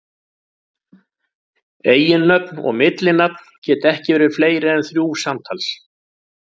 Eiginnöfn og millinafn geta ekki verið fleiri en þrjú samtals.